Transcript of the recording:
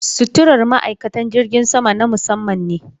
Suturar ma'aikata jirgin sama na musamman ne.